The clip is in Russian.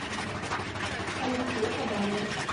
алексея кабанова